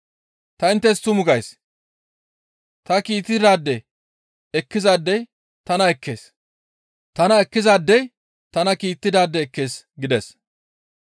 Ta inttes tumu gays; ta kiittidaade ekkizaadey tana ekkees; tana ekkizaadey tana kiittidaade ekkees» gides.